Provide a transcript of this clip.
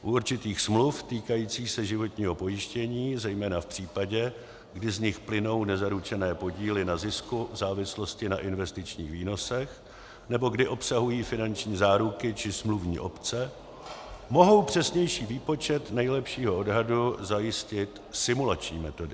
U určitých smluv týkajících se životního pojištění, zejména v případě, kdy z nich plynou nezaručené podíly na zisku v závislosti na investičních výnosech nebo kdy obsahují finanční záruky či smluvní opce, mohou přesnější výpočet nejlepšího odhadu zajistit simulační metody.